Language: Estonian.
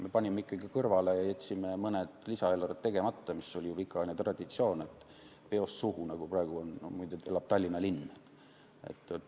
Me panime ikkagi kõrvale ja jätsime mõned lisaeelarved tegemata, mis oli ju pikaajaline traditsioon, et peost suhu, nagu praegu muide elab Tallinn.